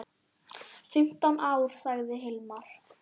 Fimmtán ár, sagði Hilmar.